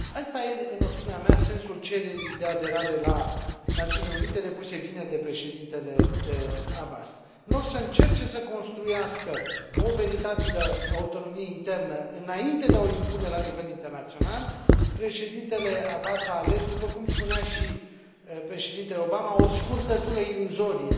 Asta e, în opinia mea, sensul cererii de aderare la Națiunile Unite depuse vineri de președintele Abbas. În loc să încerce să construiască o veritabilă autonomie internă înainte de a o impune la nivel internațional, președintele Abbas a ales, după cum spunea și președintele Obama, o scurtătură iluzorie.